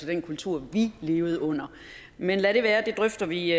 den kultur vi levede under men lad det være det drøfter vi